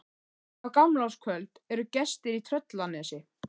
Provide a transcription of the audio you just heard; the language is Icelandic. En á gamlárskvöld eru gestir í Tröllanesi.